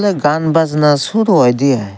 gaan bajana suru oidey aai.